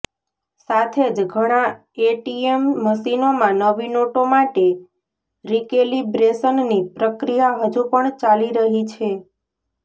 સાથે જ ઘણા એટીએમ મશીનોમાં નવી નોટો માટે રીકેલિબ્રેશનની પ્રક્રિયા હજુ પણ ચાલી રહી છે